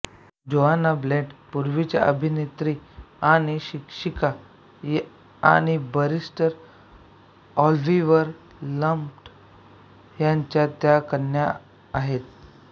Joanna Blunt पूर्वीच्या अभिनेत्री आणि शिक्षिका आणि बरीस्टर ऑल्हीवर ब्लंट ह्यांच्या त्या कन्या आहेत